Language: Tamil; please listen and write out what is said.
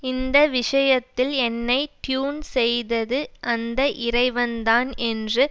இந்த விஷயத்தில் என்னை ட்யூன் செய்தது அந்த இறைவன்தான் என்று